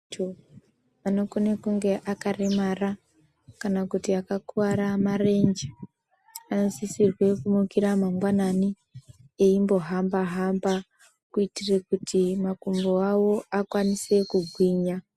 ...ntu anokone kunge akaremara kana kuti akakuvara marenje anosisrwe kumukira mangwanani eimbohamba-hamba kuitire kuti makumbo avo akwanise kugwinya.